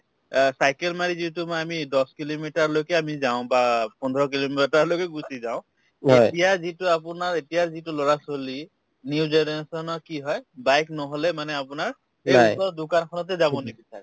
অ, cycle মাৰি যিহেতু মই আমি দহ kilometer লৈকে আমি যাওঁ বা পোন্ধৰ kilometer লৈকে গুচি যাওঁ এতিয়াৰ যিটো আপোনাৰ এতিয়াৰ যিটো লৰা-ছোৱালী new generation ৰ কি হয় bike নহলে মানে আপোনাৰ এই ওচৰৰ দোকানখনতে যাব নিবিচাৰে